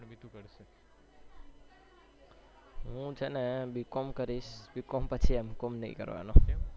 હું છે ને b. com કરીશ b. com પછી m. com નથી કરવાનો